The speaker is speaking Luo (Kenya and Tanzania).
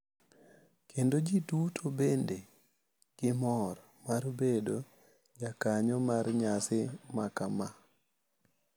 Kendo ji duto bedo gi mor mar bedo jakanyo mar nyasi makama.